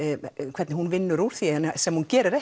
hvernig hún vinnur úr því sem hún gerir